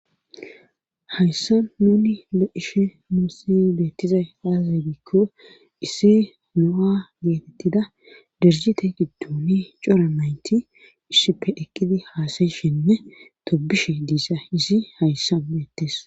Hayssa nuni lo'ishe muusi beettizay aazazagikko isse no'a geetettida derjite giddoni cora maynti issipe ekkidi haasayishinne tobishe diisa izi hayssa meettes.